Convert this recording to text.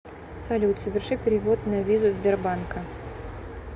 салют соверши перевод на визу сбербанка